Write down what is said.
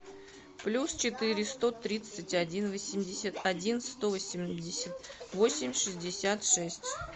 плюс четыре сто тридцать один восемьдесят один сто восемьдесят восемь шестьдесят шесть